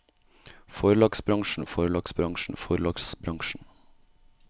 forlagsbransjen forlagsbransjen forlagsbransjen